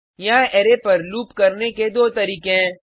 यहाँ अरै पर लूप करने के दो तरीके हैं